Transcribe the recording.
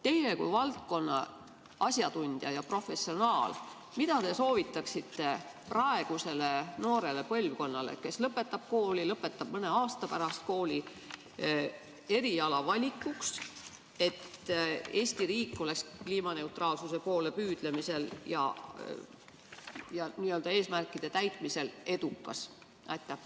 Teie kui valdkonna asjatundja ja professionaal, mida te soovitaksite praegusele noorele põlvkonnale, kes lõpetab mõne aasta pärast kooli, eriala valikuks, et Eesti riik oleks kliimaneutraalsuse poole püüdlemisel ja nende eesmärkide saavutamisel edukas?